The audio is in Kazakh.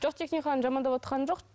жоқ техниканы жамандавотқаным жоқ